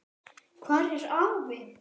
Hvar er afi?